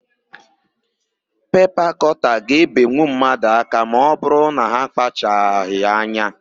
Pepa kọta ga-ebenwu mmadụ aka ma ọbụrụ na ha akpachaghị anya.